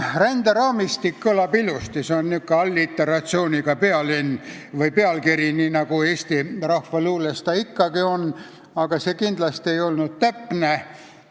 "Ränderaamistik" kõlab ilusasti, see on alliteratsiooniga pealkiri, nii nagu eesti rahvaluules ikka on, aga see ei ole kindlasti täpne.